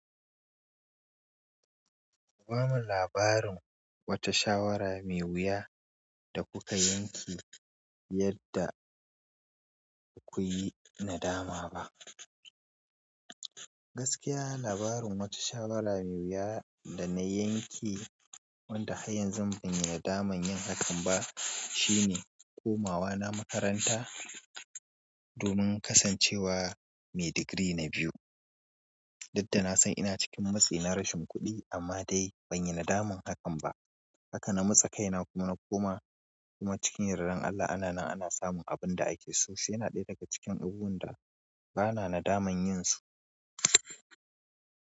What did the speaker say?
Ga min labarin wata shawara mai wuya da kuka yanke yadda ba kuyi nadama ba. Gaskiya labarin wata shawara mai wuya dana yanke wanda hai yanzu banyi nadaman yin hakan ba shine komawa na makaranta domin kasancewa mai digiri na biyu. Dudda nasan ina cikin matsi na rashin kuɗi amma dai banyi nadaman hakan ba. Haka na matsa kaina kuma na koma kuma cikin yardan Allah ana nan ana samun abin da ake so shiyana ɗaya daga cikin abunda bana nadaman yinsu.